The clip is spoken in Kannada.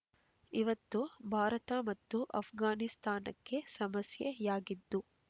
ಇವೊತ್ತು ಭಾರತ ಮತ್ತು ಅಫ್ಘಾನಿಸ್ತಾನಕ್ಕೆ ಸಮಸ್ಯೆಯಾಗಿದ್ದು